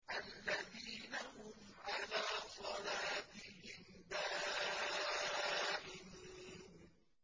الَّذِينَ هُمْ عَلَىٰ صَلَاتِهِمْ دَائِمُونَ